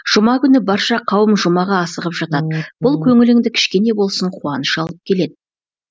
жұма күні барша қауым жұмаға асығып жатады бұл көңіліңді кішкене болсын қуаныш алып келед